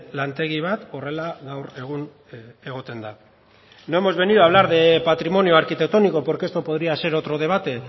lantegi bat horrela gaur egun egoten da no hemos venido a hablar de patrimonio arquitectónico porque esto podría ser otro debate